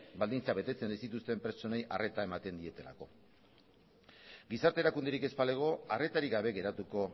baldintzak betetzen ez dituzten pertsonei arreta ematen dietelako gizarte erakunderik ez balego arretarik gabe geratuko